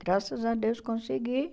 Graças a Deus, consegui.